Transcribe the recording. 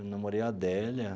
Eu namorei a Adélia.